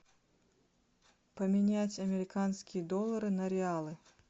поменять американские доллары на реалы